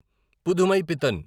Pudhumaipithan